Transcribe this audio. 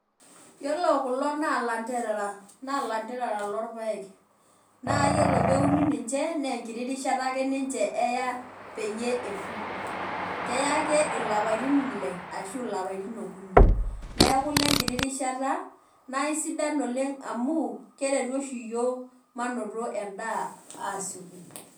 Yiolo kulo na kanderea nalanderera na iyiolo peuni ninche na enkiti rishat eya oeya eoku keya ake lapatin ile ashu okunineaku nenkiti rushata amu keretu osgu yiok mainoto enkurma asikoki.